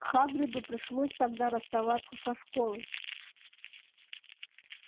хагриду пришлось тогда расставаться со школой